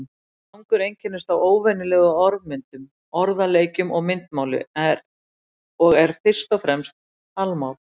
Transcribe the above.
Slangur einkennist af óvenjulegri orðmyndun, orðaleikjum og myndmáli og er fyrst og fremst talmál.